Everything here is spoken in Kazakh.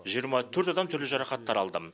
жиырма төрт адам түрлі жарақаттар алды